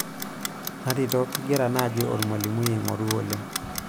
natito kingira naaji olmlimui oing'oru oleng'